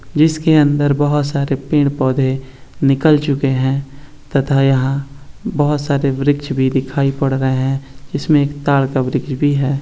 जिसके अंदर बहुत सारे पेड़-पौधे निकल चुके हैं तथा यहाँ बहुत सारे वृक्ष भी दिखाई पड़ रहे हैं इसमें एक ताड़ का वृक्ष भी है।